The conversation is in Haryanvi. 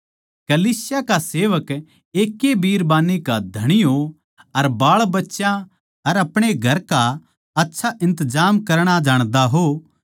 कलीसिया का सेवक एक ए बिरबान्नी के धणी हों अर बाळबच्यां अर अपणे घरां का आच्छा इन्तजाम करणा जाणदे हों